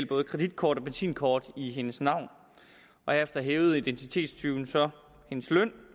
både kreditkort og benzinkort i hendes navn herefter hævede identitetstyven så hendes løn